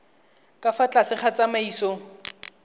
ka fa tlase ga tsamaiso